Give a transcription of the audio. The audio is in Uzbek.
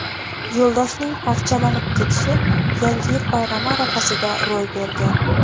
Yo‘ldoshning parchalanib ketishi Yangi yil bayrami arafasida ro‘y bergan.